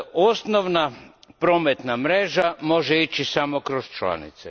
Osnovna prometna mreža može ići samo kroz članice.